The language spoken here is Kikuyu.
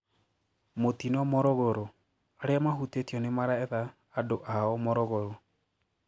Mutino Morogoro: Aria mahutetio nimaraetha endwa ao Morogoro.